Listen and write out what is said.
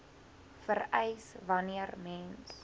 vereis wanneer mens